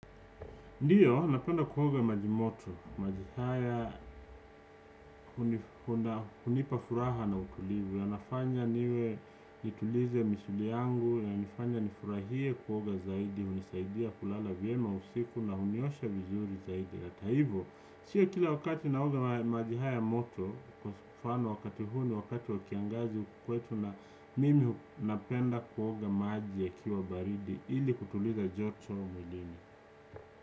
Ndiyo, napenda kuoga na majimoto, maji haya, hunipa furaha na utulivu, yanafanya niwe nitulize misuli yangu, yanifanya nifurahie kuoga zaidi, hunisaidia kulala vyema usiku na huniosha vizuri zaidi. Hata hivyo, sio kila wakati na oga maji haya moto, kwa mfano wakati huu ni wakati wa kiangazi kwetu na mimi napenda kuoga maji yakiwa baridi, ili kutuliza joto mwilini.